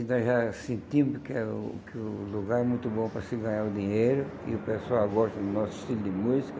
E nós já sentimos que é o que o lugar é muito bom para se ganhar o dinheiro, e o pessoal gosta do nosso estilo de música.